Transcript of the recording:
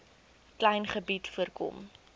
klein gebied voorkom